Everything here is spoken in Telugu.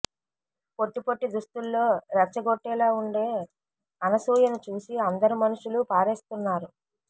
పొట్టి పొట్టి దుస్తుల్లో రెచ్చగొట్టేలా ఉండే అనసూయను చూసి అందరు మనసులు పారేస్తున్నారు